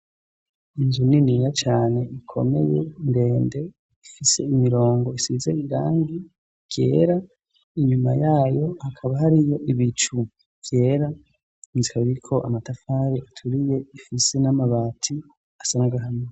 inzu niniya cyane ikomeye ndende ifise imirongo isize irangi ryera inyuma yayo akaba hariyo ibicu vyera nzi kabiriko amatafari aturiye ifise n'amabati asanagahamo